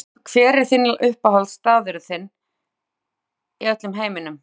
Langhlaup Hver er uppáhaldsstaðurinn þinn í öllum heiminum?